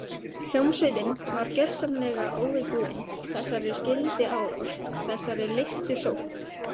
Hljómsveitin var gjörsamlega óviðbúin þessari skyndiárás, þessari leiftursókn.